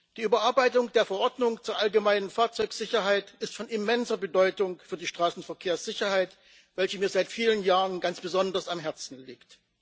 Die Überarbeitung der Verordnung zur allgemeinen Fahrzeugsicherheit ist von immenser Bedeutung für die Straßenverkehrssicherheit, welche mir seit vielen Jahren ganz besonders am Herzen liegt.